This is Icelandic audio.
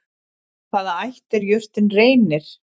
Af hvaða ætt er jurtin Reynir?